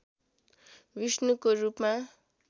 विष्णुको रूपमा